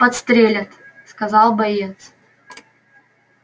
подстрелят сказал боец